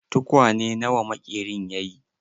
Tukwane na wa maƙerin ya yi?